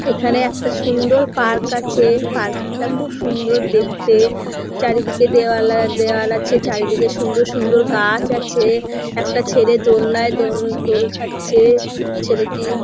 এখানে একটা সুন্দর পার্ক আছে পার্ক -টা খুব সুন্দর দেখতে চারিদিকে দেওয়াল আছে চারিদিকে সুন্দর সুন্দর গাছ আছে একটা ছেলে দোলনায় দোল খাচ্ছে ছেলেটি।